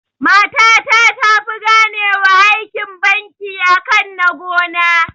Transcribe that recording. Mata ta tafi gane wa aikin banki akan na gona